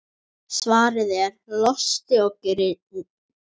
Svarið er: Losti og girnd.